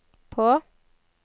på